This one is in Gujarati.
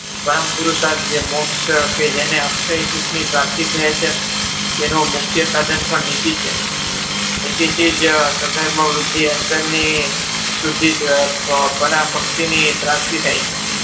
પરમપુરુસાર્થ જે મોક્ષ કે જેને અક્ષય સુખની પ્રાપ્તિ થઈ છે જેનો મુખ્ય સાધન પણ નીતિ છે. નીતિથી જ સધર્મ વૃદ્ધિ અંતરની પ્રાપ્તિ થાય છે.